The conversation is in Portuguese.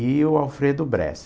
E o Alfredo Bressa.